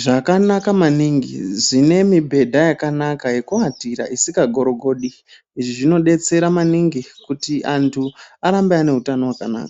zvakanaka maningi zvine mibhedha yakanaka yekuatira isikagorogodi. Izvi zvinodetsera maningi kuti antu arambe ane utano hwakanaka.